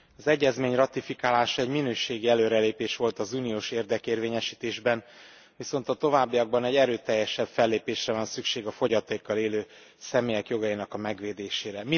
Az egyezmény ratifikálása egy minőségi előrelépés volt az uniós érdekérvényesítésben, viszont a továbbiakban egy erőteljesebb fellépésre van szükség a fogyatékkal élő személyek jogainak a megvédésére.